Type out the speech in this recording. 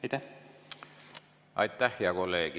Aitäh, hea kolleeg!